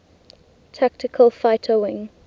tactical fighter wing